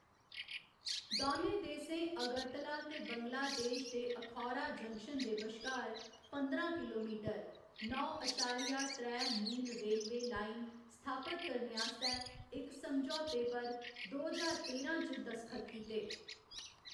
दौनें देसें अगरतला ते बंगलादेश दे अखौरा जंक्शन दे बश्कार पंदरां किलोमीटर, नौ अशारिया त्रै मील रेलवे लाइन स्थापत करने आस्तै इक समझौते पर दो ज्हार तेरां च दसखत कीते।